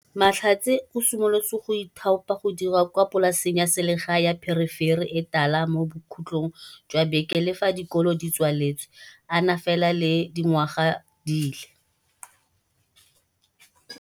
Mahlatse o simolotse go ithaopa go dira kwa polaseng ya selegae ya pherefere e tala mo bokhutlhong jwa beke le fa dikolo di tswaletse a na fela le dingwaga di le